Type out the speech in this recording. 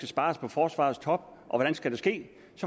spares på forsvarets top og hvordan det skal ske